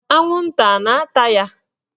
Anwụnta a na-ata ya?